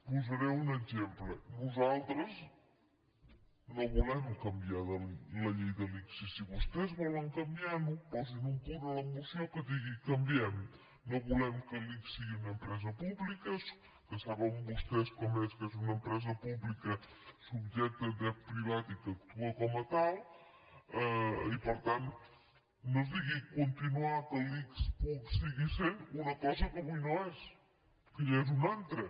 posaré un exemple nosaltres no volem canviar la llei de l’ics i si vostès volen canviar la posin un punt a la moció que digui canviem no volem que l’ics sigui una empresa pública que saben vostès que és una empresa pública subjecta a dret privat i que actua com a tal i per tant no ens digui continuar que l’ics pugui seguir sent una cosa que avui no és que ja n’és una altra